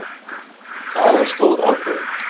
Það var stór ákvörðun.